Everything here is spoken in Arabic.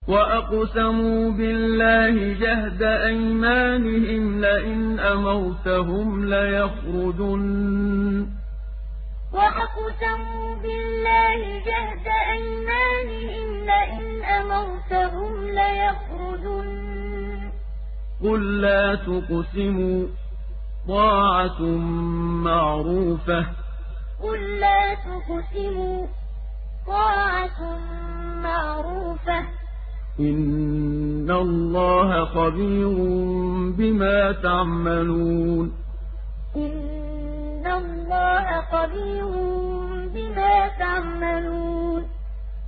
۞ وَأَقْسَمُوا بِاللَّهِ جَهْدَ أَيْمَانِهِمْ لَئِنْ أَمَرْتَهُمْ لَيَخْرُجُنَّ ۖ قُل لَّا تُقْسِمُوا ۖ طَاعَةٌ مَّعْرُوفَةٌ ۚ إِنَّ اللَّهَ خَبِيرٌ بِمَا تَعْمَلُونَ ۞ وَأَقْسَمُوا بِاللَّهِ جَهْدَ أَيْمَانِهِمْ لَئِنْ أَمَرْتَهُمْ لَيَخْرُجُنَّ ۖ قُل لَّا تُقْسِمُوا ۖ طَاعَةٌ مَّعْرُوفَةٌ ۚ إِنَّ اللَّهَ خَبِيرٌ بِمَا تَعْمَلُونَ